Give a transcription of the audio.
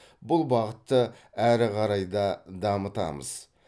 бұл бағытты әрі қарай да дамытамыз